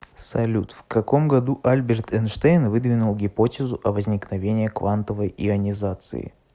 салют в каком году альберт эйнштейн выдвинул гипотезу о возникновении квантовой ионизации